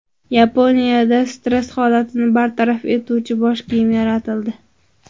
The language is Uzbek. Yaponiyada stress holatini bartaraf etuvchi bosh kiyim yaratildi.